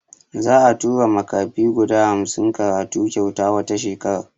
Za'a tura makafi guda hamsin karatu kyauta wata shekara.